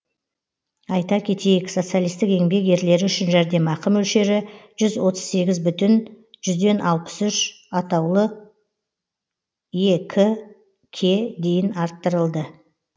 айта кетейік социалистік еңбек ерлері үшін жәрдемақы мөлшері жүз отыз сегіз бүтін жүзден алпыс үш атаулы ек ке дейін арттырылды